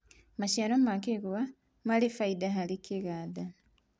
maciaro ma kĩgwa mari baida harĩ iganda